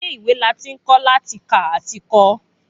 Ilé ìwé la ti ń kọ́ láti kà àti kọ